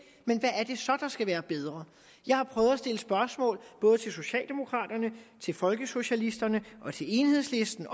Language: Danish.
så der skal være bedre jeg har prøvet at stille spørgsmål både til socialdemokraterne til folkesocialisterne og til enhedslisten